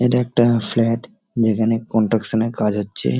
এটা একটা ফ্লাট | যেখানে কনস্ট্রাকশন -এর কাজ হচ্ছে ।